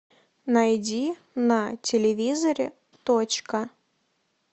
найди на телевизоре точка